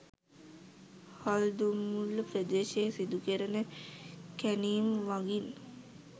හල්දුම්මුල්ල ප්‍රදේශයේ සිදු කෙරෙන කැණීම් මගින්